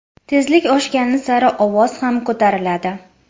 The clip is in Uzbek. Tezlik oshgan sari ovoz ham ko‘ratiladi.